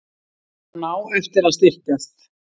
Hann á eftir að styrkjast.